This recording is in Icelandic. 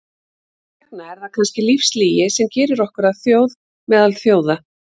Þess vegna er það kannski lífslygi sem gerir okkur að þjóð meðal þjóða.